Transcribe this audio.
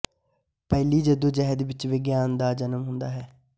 ਪਹਿਲੀ ਜੱਦੋਜਹਿਦ ਵਿਚੋਂ ਵਿਗਿਆਨ ਦਾ ਜਨਮ ਹੁੰਦਾ ਹੈ